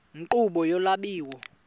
nkqubo yolu lwabiwo